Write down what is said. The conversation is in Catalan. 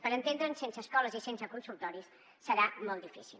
per entendre’ns sense escoles i sense consultoris serà molt difícil